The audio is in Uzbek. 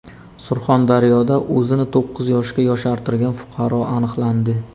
Surxondaryoda o‘zini to‘qqiz yoshga yoshartirgan fuqaro aniqlandi.